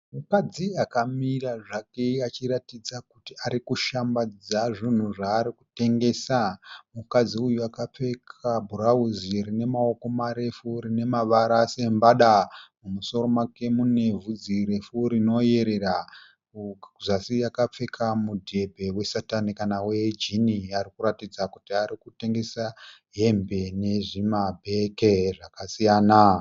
Mukadzi akamira zvake achiratidza kuti arikushambadza zvinhu zvaari kutengesa. Mukadzi uyu akapfeka bhurauzi rine maoko marefu rinemavara sembada . Mumusoro make mune vhudzi refu rinoyerera. Kuzasi akapfeka mudhebhe we satani kana we jean. Arikuratidza kuti arikutengesa hembe nezvima bhege zvakasiyana.